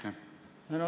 Aitäh!